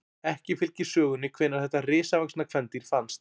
Ekki fylgir sögunni hvenær þetta risavaxna kvendýr fannst.